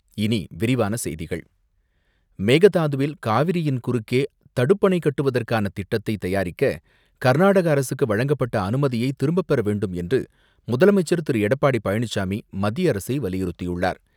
இனி விரிவான செய்திகள் மேகதாதுவில் காவிரியின் குறுக்கே தடுப்பணை கட்டுவதற்கான திட்டத்தை தயாரிக்க கர்நாடக அரசுக்கு வழங்கப்பட்ட அனுமதியை திரும்பப்பெற வேண்டும் என்று முதலமைச்சர் திரு எடப்பாடி பழனிசாமி, மத்திய அரசை வலியுறுத்தியுள்ளார்.